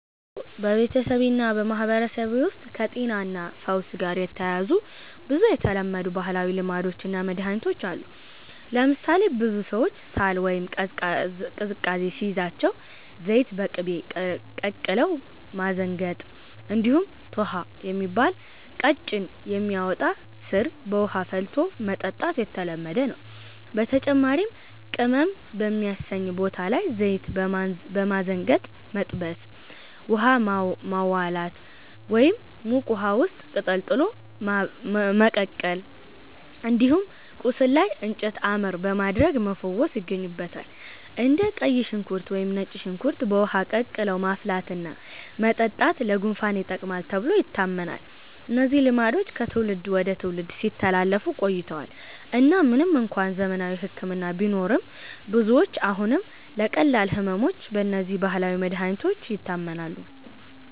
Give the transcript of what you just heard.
አዎ፣ በቤተሰቤ እና በማህበረሰቤ ውስጥ ከጤናና ፈውስ ጋር የተያያዙ ብዙ የተለመዱ ባህላዊ ልማዶች እና መድኃኒቶች አሉ። ለምሳሌ ብዙ ሰዎች ሳል ወይም ቀዝቃዛ ሲይዛቸው ዘይት በቅቤ ቀቅለው ማዘንገጥ፣ እንዲሁም “ቶኅ” የሚባል ቀጭን የሚያወጣ ሥር በውሃ ፈልቶ መጠጣት የተለመደ ነው። በተጨማሪም ቅመም በሚያሰኝ ቦታ ላይ ዘይት በማዘንገጥ መጥበስ፣ “ውሃ ማዋላት” (ሙቅ ውሃ ውስጥ ቅጠል ጥሎ ማበቀል)፣ እንዲሁም ቆስል ላይ “እንጨት አመር” በማድረግ መፈወስ ይገኙበታል። እንደ ቀይ ሽንኩርት ወይም ነጭ ሽንኩርት በውሃ ቀቅለው ማፍላትና መጠጣት ለጉንፋን ይጠቅማል ተብሎ ይታመናል። እነዚህ ልማዶች ከትውልድ ወደ ትውልድ ሲተላለፉ ቆይተዋል እና ምንም እንኳን ዘመናዊ ሕክምና ቢኖርም፣ ብዙዎች አሁንም ለቀላል ሕመሞች በእነዚህ ባህላዊ መድኃኒቶች ይታመናሉ።